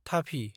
थाफि